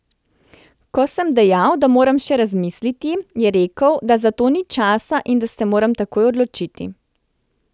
Ko sem dejal, da moram še razmisliti, je rekel, da za to ni časa in da se moram takoj odločiti.